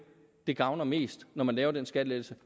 det gavner mest når man laver den skattelettelse